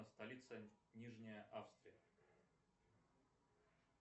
столица нижняя австрия